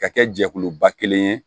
Ka kɛ jɛkuluba kelen ye